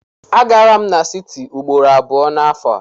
Agara m n'siti ugboro abụọ n'afọ a.